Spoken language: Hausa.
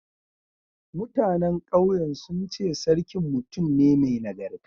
Mutanen ƙauyen sun ce sarkin mutum ne mai nagarta.